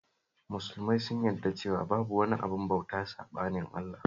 Musulmai sun yarda cewa babu wani abin bauta saɓanin Allah